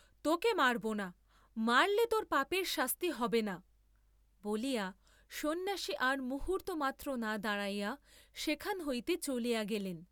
তোকে মারব না, মারলে তোর পাপের শাস্তি হবে না, বলিয়া সন্ন্যাসী আর মুহূর্ত্তমাত্র না দাঁড়াইয়া সেখান হইতে চলিয়া গেলেন।